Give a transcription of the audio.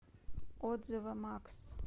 отзывы макс